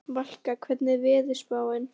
Valka, hvernig er veðurspáin?